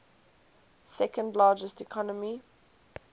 second largest economy